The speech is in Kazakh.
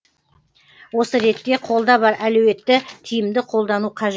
осы ретте қолда бар әлеуетті тиімді қолдану қажет